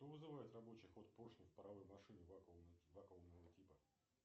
что вызывает рабочий ход поршня в паровой машине вакуумного типа